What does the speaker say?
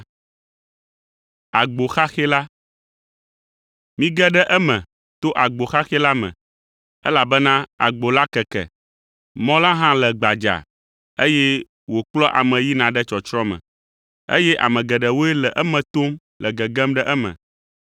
“Mige ɖe eme to agbo xaxɛ la me, elabena agbo la keke, mɔ la hã le gbadzaa, eye wòkplɔa ame yina ɖe tsɔtsrɔ̃ me, eye ame geɖewoe le eme tom le gegem ɖe eme.